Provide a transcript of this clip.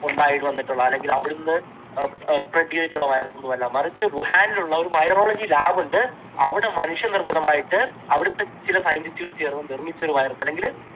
ഉണ്ടായി വന്നിട്ടുള്ള അല്ലെങ്കിൽ അവിടെന്ന് എഹ് spread ചെയ്തിട്ടുള്ള virus ഒന്നുമല്ല. മറിച്ച് വുഹാനിലുള്ള ഒരു virology lab ഉണ്ട്. അവിടെ മനുഷ്യ നിർമ്മിതമായിട്ട് അവിടുത്തെ ചില scientist കൾ ചേർന്ന് നിർമ്മിച്ച ഒരു virus അല്ലെങ്കിൽ